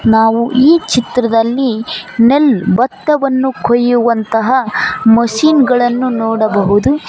ನಾವು ಈ ಚಿತ್ರದಲ್ಲಿ ನೆಲ್ಲು ಬತ್ತವನ್ನು ಕೊಯ್ಯುವಂತಹ ಮಷೀನ್ ಗಳನ್ನು ನೋಡಬಹುದು.